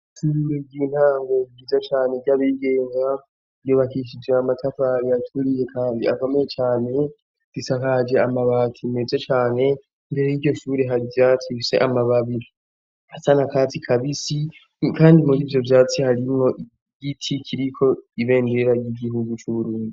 Ishure ry'intango ryiza cane ry'abigenga ryubakishije amatabari aturiye kandi akomeye cane, zisakaje amabati meze cane. Imbere y'iryoshure har'ivyatsi bifise amababi asa n'akatsi kabisi kandi mur'ivyovyatsi harimwo igiti kiriko ibendera ry'igihugu c'Uburundi.